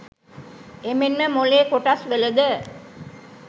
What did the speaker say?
එමෙන්ම මොලේ කොටස් වලද